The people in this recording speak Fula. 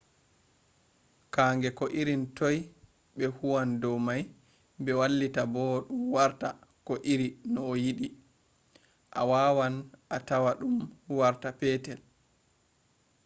kannge ko irin toi be huwan dow mai be wailita dum warta ko iri no ayidi. awawan atama dum warta petetel